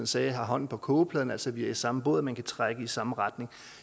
sagde hånden på kogepladen altså i samme båd man kan trække i samme retning